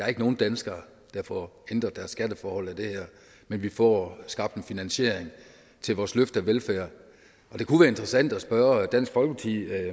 er nogen danskere der får ændret deres skatteforhold men vi får skabt en finansiering til vores løft af velfærd det kunne være interessant at spørge dansk folkeparti